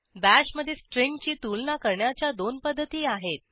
bash मधे स्ट्रिंगची तुलना करण्याच्या दोन पध्दती आहेत